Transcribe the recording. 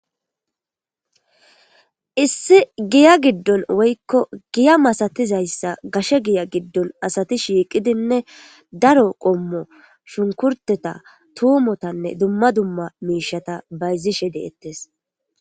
Issi giya giddon woykko giya masatiza iza gashe giya giddon asati shiiqidinne daro qommo shunkurteta tuumotanne dumma dumma miishata bayzishe deettees.